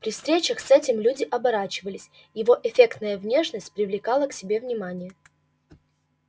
при встречах с этим люди оборачивались его эффектная внешность привлекала к себе внимание